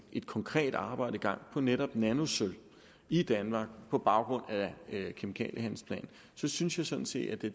et konkret arbejde i gang netop nanosølv i danmark på baggrund af kemikaliehandlingsplanen synes jeg sådan set at det